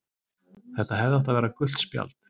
Þetta hefði átt að vera gult spjald.